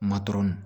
Matɔrɔni